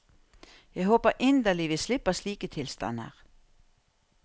Jeg håper inderlig vi slipper slike tilstander.